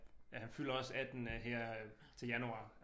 Ja han fylder også 18 øh her øh til januar